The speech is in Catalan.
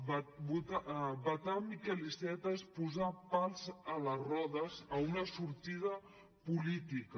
vetar miquel iceta és posar pals a les rodes a una sortida política